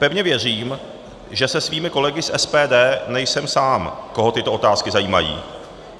Pevně věřím, že se svými kolegy z SPD nejsem sám, koho tyto otázky zajímají.